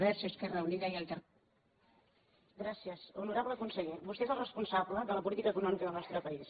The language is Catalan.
honorable conseller vostè és el responsable de la política econòmica del nostre país